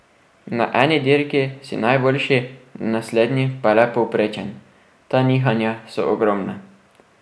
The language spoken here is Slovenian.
Na eni dirki si najboljši, na naslednji pa le povprečen, ta nihanja so ogromna.